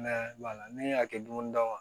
Mɛ ne y'a kɛ dumuni d'a ma